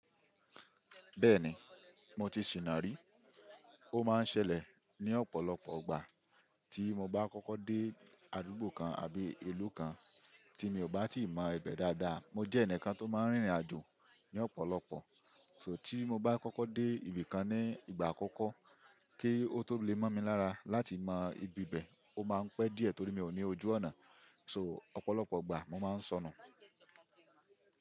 Bẹ́ẹ̀ni, mo ti sìnà rí. Ó máa ń ṣẹlẹ̀ ní ọ̀pọ̀lọpọ̀ ìgbà tí mo bá kọ́kọ́ dé àdúgbò kan àbí ìlú kan tí mi ò bá tí mọ ibẹ̀ dáadáa. Mo jẹ́ ẹnìkan tó máa ń rìnrìn àjò ní ọ̀pọ̀lọpọ̀, so tí mo bá kọ́kọ́ dé ibì kan ní ìgbà àkọ́kọ́, kí ó tó lè mọ̀ mi lára láti mọ ibi ibẹ̀, ó máa ń pẹ́ díẹ̀ torí mi ò ní ojú ọ̀nà. So ọ̀pọ̀lọpọ̀ ìgbà mo máa ń sọnù.